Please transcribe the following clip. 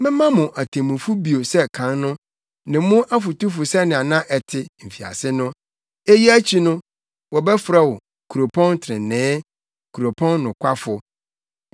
Mɛma mo atemmufo bio sɛ kan no, ne mo afotufo sɛnea na ɛte, mfiase no. Eyi akyi no, wɔbɛfrɛ wo Kuropɔn Trenee, Kuropɔn Nokwafo.”